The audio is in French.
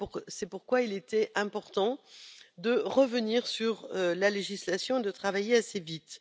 C'est pourquoi il était important de revenir sur la législation et de travailler assez vite.